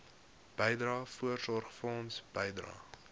bydrae voorsorgfonds bydrae